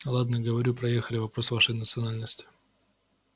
ладно говорю проехали вопрос вашей национальности